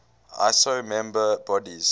iso member bodies